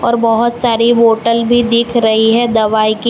और बहोत सारी बॉटल भी दिख रही है दवाई की।